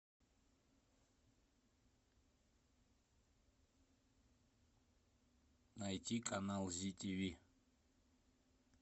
найти канал зи тв